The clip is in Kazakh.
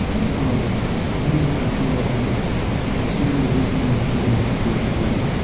просто анадай музыканы тыңдаватамын да мынадай сөздер өзімен өзі келген сияқты болып табылады да